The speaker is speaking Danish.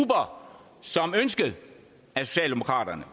så ønsket af socialdemokraterne